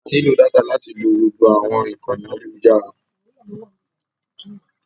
A ní lò data láti lè lo gbogbo àwọn ìkànì ayélujára.